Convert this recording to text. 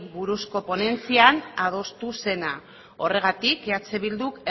buruzko ponentzian adostu zena horregatik eh bilduk